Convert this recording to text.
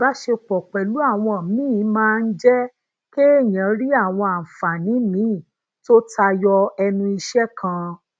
ibasepo pèlú àwọn míì máa ń jé kéèyàn rí àwọn àǹfààní míì tó tayo enu ise kan